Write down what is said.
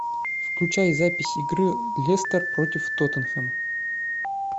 включай запись игры лестер против тоттенхэм